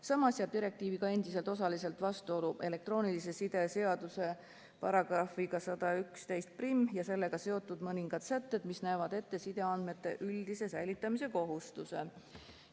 Samas jäävad direktiiviga endiselt osaliselt vastuollu elektroonilise side seaduse § 1111 ja sellega seotud mõningad sätted, mis näevad ette sideandmete üldise säilitamise kohustuse.